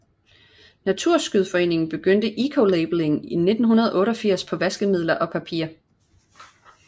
Naturskyddsföreningen begyndte ecolabelling i 1988 på vaskemidler og papir